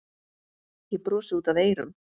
Ég brosi út að eyrum.